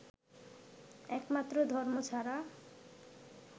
একমাত্র ধর্ম ছাড়া